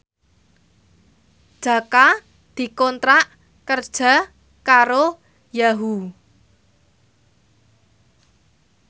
Jaka dikontrak kerja karo Yahoo!